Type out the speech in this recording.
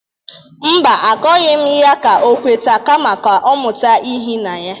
Mba, akọghị m ya ka o kweta kama ka ọ mụta ihi na ya.